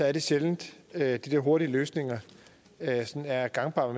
er det sjældent at de der hurtige løsninger er gangbare